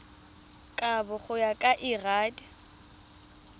kabo go ya ka lrad